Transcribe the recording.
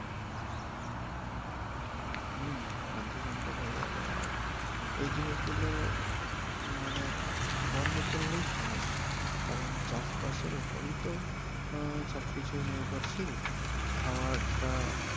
হম খাদ্য সঙ্কট হয়ে যাবে আর এই জিনিস গুলো মানে বন্ধ করলেই সমস্যা কারন চাষ বাসের উপরেই তো আহ সব কিছু নির্ভরশীল। খাওয়ার টা